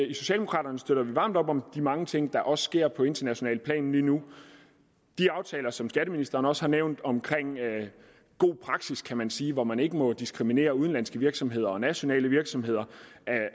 det socialdemokraterne støtter varmt op om de mange ting der også sker på internationalt plan lige nu de aftaler som skatteministeren også har nævnt omkring god praksis kan man sige hvor man ikke må diskriminere udenlandske virksomheder og nationale virksomheder